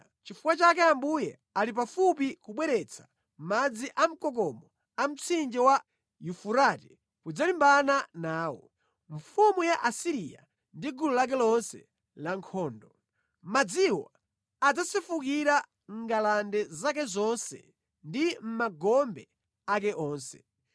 nʼchifukwa chake Ambuye ali pafupi kubweretsa madzi amkokomo a mtsinje wa Yufurate kudzalimbana nawo; mfumu ya ku Asiriya ndi gulu lake lonse lankhondo. Madziwo adzasefukira mʼngalande zake zonse ndi mʼmagombe ake onse.